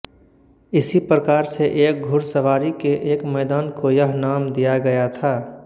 इसी प्रकार से एक घुड़सवारी के एक मैदान को यह नाम दिया गया था